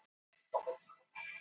Það losnar um málbeinin.